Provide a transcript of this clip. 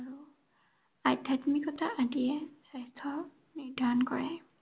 আধ্যাত্মিকতা আদিয়ে স্বাস্থ্য নিৰ্ধাৰণ কৰে।